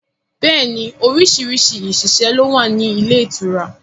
Bẹẹ ni orísìírísìí òṣìṣẹ́ ló wà ní ilé ìtura